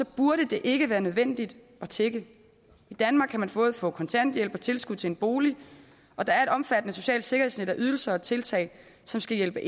burde det ikke være nødvendigt at tigge i danmark kan man både få kontanthjælp og tilskud til en bolig og der et omfattende socialt sikkerhedsnet med ydelser og tiltag som skal hjælpe